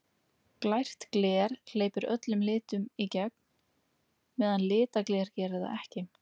Glært gler hleypir öllum litunum í gegn, meðan litað gler gerir það ekki.